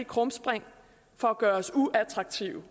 krumspring for at gøre os uattraktive